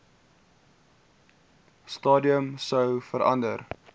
stadium sou verander